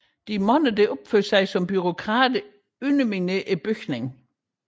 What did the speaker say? De mange der opfører sig som bureaukrater underminerer bygningen